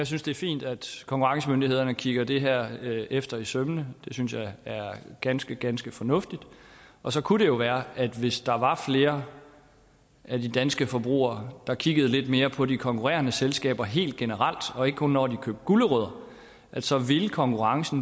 synes det er fint at konkurrencemyndighederne kigger det her efter i sømmene det synes jeg er ganske ganske fornuftigt og så kunne det jo være at hvis der var flere danske forbrugere der kiggede lidt mere på de konkurrerende selskaber helt generelt og ikke kun når de købte gulerødder så ville konkurrencen